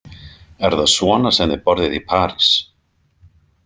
Er það svona sem þið borðið í París?